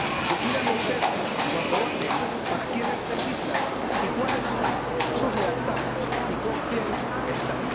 Decidan ustedes, cuando voten, para quiénes legislan y cuáles son sus lealtades y con quién están.